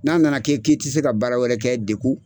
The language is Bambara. N'a nana kɛ k'i ti se ka baara wɛrɛ kɛ degu